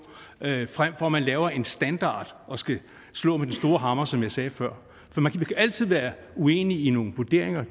frem for at man laver en standard og skal slå med den store hammer som jeg sagde før man kan altid være uenig i nogle vurderinger